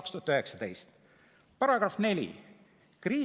[Hädaolukorra seaduses tehakse järgmised muudatused: paragrahv 4 muudetakse ja sõnastatakse järgmiselt]: "§ 4.